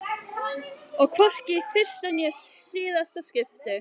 Og hvorki í fyrsta né síðasta skipti.